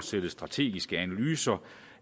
sætte strategiske analyser